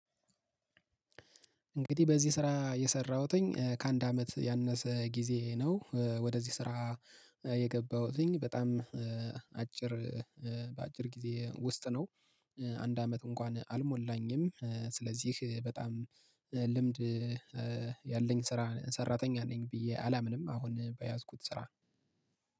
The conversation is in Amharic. እንግዲህ በዚህ ስራ የሰራሁትኝ ከአንድ አመት ያነሰ ጊዜ ነው ወደዚህ ስራ የገባሁትኝ በጣም አጭር በአጭር ጊዜ ውስጥ ነው። አንድ አመት እንኳን አልሞላኝም ስለዚህ በጣም ልምድ ያለኝ ስራ ሰራተኛ ነኝ ብዬ አላምንም። አሁን በያዝኩት ስራ